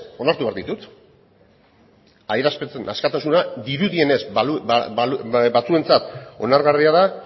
onartu behar ditut adierazpen askatasuna dirudienez batzuentzat onargarria da